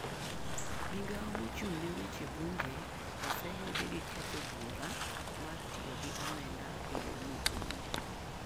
Migao mochung' ne weche bunge oseyudi gi kethio buora mar tiyo gi omenda eyo mokowinjore.